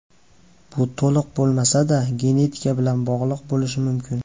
Bu, to‘liq bo‘lmasa-da, genetika bilan bog‘liq bo‘lishi mumkin.